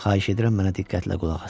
Xahiş edirəm mənə diqqətlə qulaq asın.